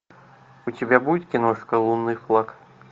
у тебя будет киношка лунный флаг